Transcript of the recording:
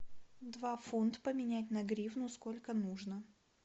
два фунт поменять на гривну сколько нужно